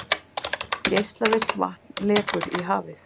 Geislavirkt vatn lekur í hafið